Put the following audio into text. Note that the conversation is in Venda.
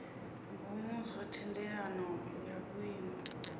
ngomu zwa thendelano ya vhuimo